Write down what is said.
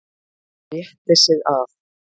Rétti sig af.